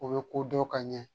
O bɛ ko dɔn ka ɲɛ